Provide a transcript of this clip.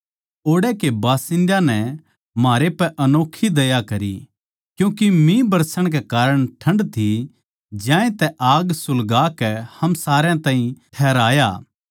ओड़ै के बासिन्दयां नै म्हारै पै अनोक्खी दया करी क्यूँके मीह बरसण कै कारण ठण्ड थी ज्यांतै आग सुलगाकै हम सारया ताहीं ठहराया